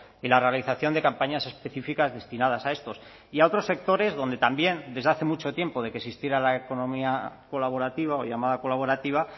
y la realización de campañas específicas destinadas a estos y a otros sectores donde también desde hace mucho tiempo de que existiera la economía colaborativa o llamada colaborativa